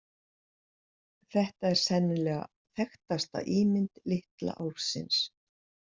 Þetta er sennilega þekktasta ímynd litla álfsins.